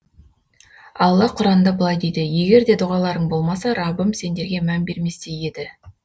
алла құранда былай дейді егер де дұғаларың болмаса раббым сендерге мән бермес те еді